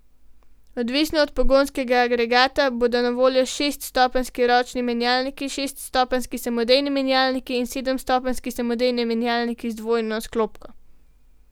Odvisno od pogonskega agregata bodo na voljo šeststopenjski ročni menjalnik, šeststopenjski samodejni menjalnik in sedemstopenjski samodejni menjalnik z dvojno sklopko.